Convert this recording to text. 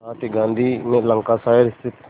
साथ ही गांधी ने लंकाशायर स्थित